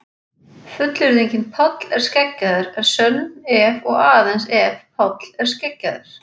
Fullyrðingin Páll er skeggjaður er sönn ef og aðeins ef Páll er skeggjaður.